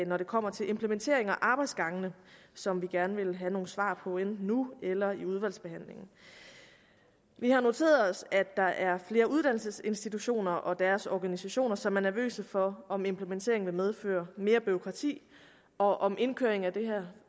når det kommer til implementering af arbejdsgangene som vi gerne vil have nogle svar på enten nu eller i udvalgsbehandlingen vi har noteret os at der er flere uddannelsesinstitutioner og deres organisationer som er nervøse for om implementeringen vil medføre mere bureaukrati og om indkøringen af det her